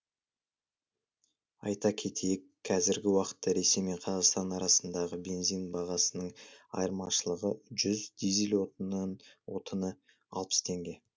айта кетейік кәзіргі уақытта ресей мен қазақстан арасындағы бензин бағасының айырмашылығы жүз дизель отыны алпыс теңге